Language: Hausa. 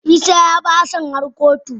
Isah ya bi Hassan har kotu.